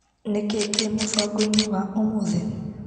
Nĩkĩĩ kĩ mũbango-inĩ wa ũmũthĩ .